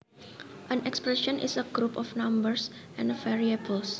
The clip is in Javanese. An expression is a group of numbers and variables